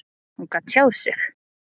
Hún gat ekki tjáð sig.